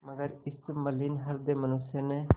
मगर इस मलिन हृदय मनुष्य ने